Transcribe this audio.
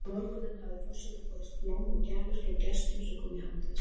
Um morguninn hafa forseta borist blóm og gjafir frá gestum sem koma í hádegismat.